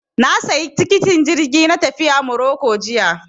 Na sayi tikitin jirgi na tafiya Maroko jiya